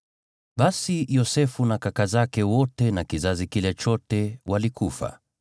Basi Yosefu na kaka zake wote na kizazi kile chote walikufa,